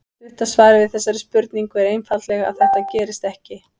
Stutta svarið við þessari spurningu er einfaldlega að þetta gerist ekki.